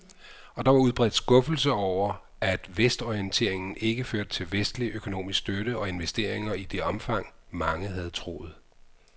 Og der var udbredt skuffelse over, at vestorienteringen ikke førte til vestlig økonomisk støtte og investeringer i det omfang, mange havde troet.